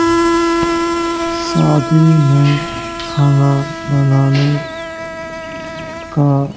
शादी में खाना बनाने का --